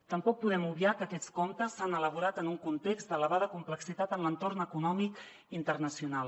tampoc podem obviar que aquests comptes s’han elaborat en un context d’elevada complexitat en l’entorn econòmic internacional